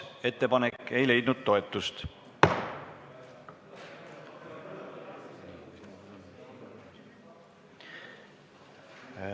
Ettepanek ei leidnud toetust.